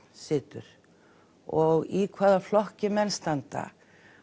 situr og í hvaða flokki menn standa